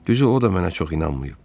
Düzü o da mənə çox inanmayıb.